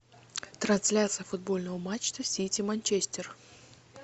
трансляция футбольного матча сити манчестер